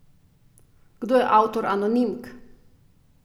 Kdo je avtor anonimk?